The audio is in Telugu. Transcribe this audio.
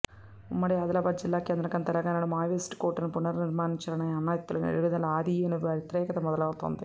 ఉమ్మడి ఆదిలాబాద్ జిల్లా కేంద్రంగా తెలంగాణలో మావోయిస్టు కోటను పునర్ నిర్మించాలని అన్నల ఎత్తుగడలకు ఆదిలోనే వ్యతిరేకత మొదలవుతోంది